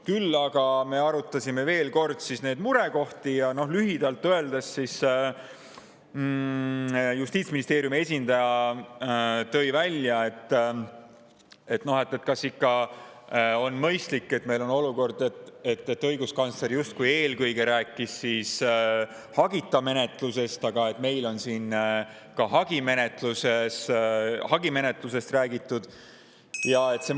Küll aga me arutasime veel kord murekohti ja Justiitsministeeriumi esindaja tõi välja, et kas on ikka mõistlik, et olukorras, kus õiguskantsler justkui rääkis eelkõige hagita menetlusest, on meil siin räägitud ka hagimenetlusest.